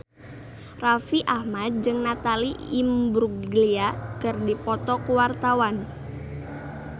Raffi Ahmad jeung Natalie Imbruglia keur dipoto ku wartawan